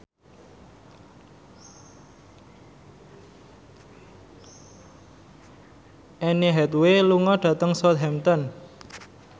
Anne Hathaway lunga dhateng Southampton